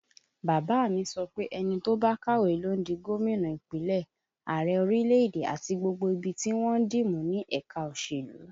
Bàbá a mi sọ pé ẹni tó bá kàwé ló ń di gómìnà Ìpínlẹ̀, Ààrẹ orílẹ̀èdè, àti gbogbo ibi tí wọ́n ń dì mú ní ẹ̀ka òṣèlú